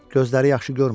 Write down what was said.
Gözləri yaxşı görmür.